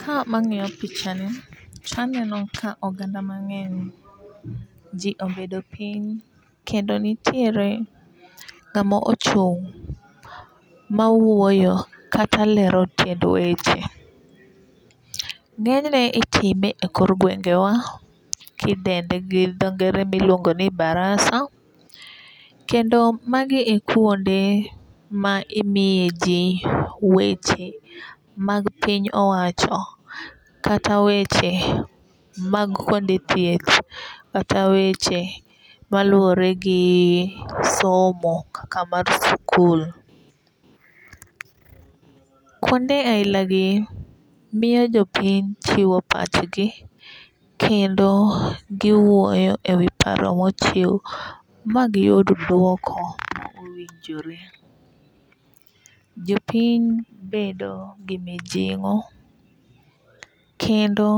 Ka wang'iyo picha ni taneno ka oganda mang'eny jii obedo piny kendo nitiere ng'ama ochung' ma wuoyo kata lero tiend weche . Ng'enyne itime e kor gwengewa kidende gi dho ngere miluongo ni baraza kendo magi e kuonde ma imiye jii weche mag piny owacho kata weche mag kuonde thieth kata weche maluwore gi somo kaka mar sikul. Kuonde aila gi miyo jopiny chiwo pachgi kendo giwuoyo e wi paro mochiw ma giyud duoko mowinjore. Jopiny bedo gi mijing'o kendo